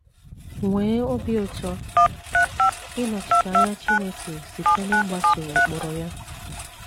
Nwee obi ụtọ ịnọchite anya Chineke site n’ịgbaso ụkpụrụ ya.